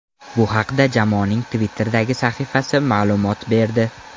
Bu haqda jamoaning Twitter’dagi sahifasi ma’lumot berdi.